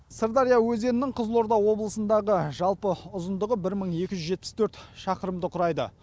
сырдария өзенінің қызылорда облысындағы жалпы ұзындығы бір мың екі жүз жетпіс төрт шақырымды құрайды